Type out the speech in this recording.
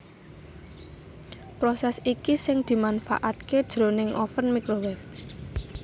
Prosès iki sing dimanfaataké jroning oven microwave